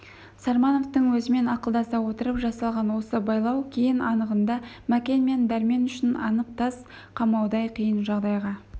сармановтың өзімен ақылдаса отырып жасалған осы байлау кейін анығында мәкен мен дәрмен үшін анық тас қамаудай қиын жағдайға